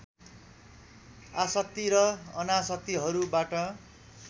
आशक्ति र अनाशक्तिहरूबाट